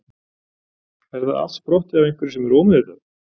er það allt sprottið af einhverju sem er ómeðvitað